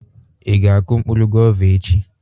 Ị ga akụ mkpụrụ gova echi?